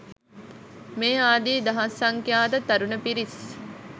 මේ ආදී දහස් සංඛ්‍යාත තරුණ පිරිස්